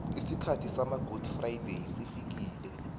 isikhathi samagudi frayideyi sesifikile